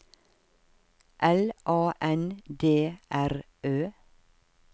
L A N D R Ø